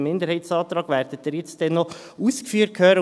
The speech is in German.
Der Minderheitsantrag wird Ihnen jetzt gleich noch ausgeführt werden.